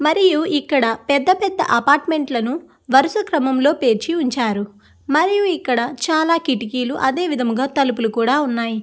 మరియు ఇక్కడ పెద్ద పెద్ద అపార్ట్మెంట్ లను వరస క్రమంలో లో పేర్చి ఉంచారు. మరియు ఇక్కడ చాలా కిటికీలు అదే విధముగా తలుపులు కూడా ఉన్నాయి.